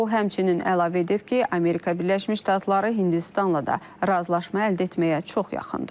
O, həmçinin əlavə edib ki, Amerika Birləşmiş Ştatları Hindistanla da razılaşma əldə etməyə çox yaxındır.